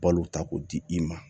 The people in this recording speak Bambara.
Balo ta k'o di i ma